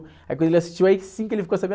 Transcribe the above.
Aí quando ele assistiu aí sim que ele ficou sabendo.